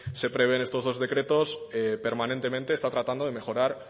se prevé en estos dos decretos permanentemente está tratando de mejorar